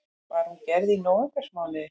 Var hún gerð í nóvembermánuði